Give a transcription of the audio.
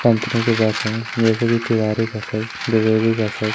Company के पास है जैसे कि तिवारी बसेस द्विवेदी बसेस ।